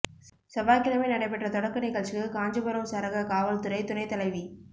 செவ்வாய்க்கிழமை நடைபெற்ற தொடக்க நிகழ்ச்சிக்கு காஞ்சிபுரம் சரக காவல்துறை துணைத் தலைவி